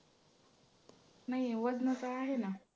नाही आहे वजनाचं आहे ना.